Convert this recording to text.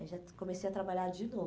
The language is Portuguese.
Aí já comecei a trabalhar de novo.